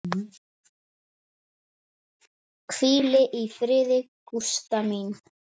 Hvíl í fríði, Gústa mín.